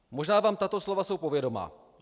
Možná vám tato slova jsou povědomá.